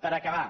per acabar